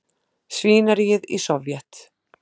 svínaríið í Sovét.